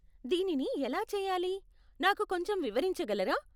దీనిని ఎలా చేయాలి, నాకు కొంచెం వివరించగలరా?